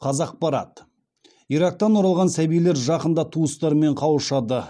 қазақпарат ирактан оралған сәбилер жақында туыстарымен қауышады